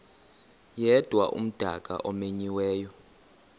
yedwa umdaka omenyiweyo